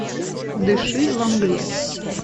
дыши во мгле